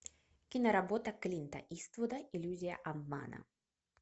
киноработа клинта иствуда иллюзия обмана